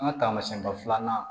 An ka taamasɛnba filanan